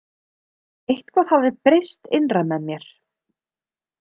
Eitthvað hafði breyst innra með mér.